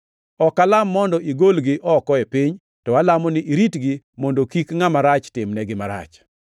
Ok alam mondo igolgi oko e piny, to alamo ni iritgi mondo kik Ngʼama Rach timnegi marach.